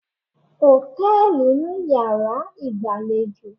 ̣Hòtẹ́ẹ̀lì ni yàrá ìgbàlejò